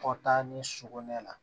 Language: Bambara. Kɔ taa ni suko ne la